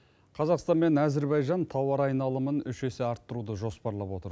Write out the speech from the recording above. қазақстан мен әзірбайжан тауар айналымын үш есе арттыруды жоспарлап отыр